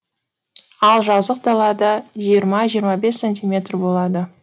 ал жазық далада жиырма жиырма бес сантиметр болады